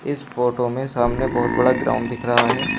इस फोटो में सामने बहुत बड़ा ग्राउंड दिख रहा है।